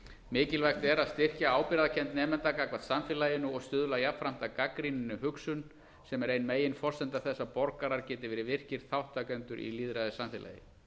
mikilvægt er að styrkja ábyrgðarkennd nemenda gagnvart samfélaginu og stuðla jafnframt að gagnrýninni hugsun sem er ein meginforsenda þess að borgarar geti verið virkir þátttakendur í lýðræðissamfélagi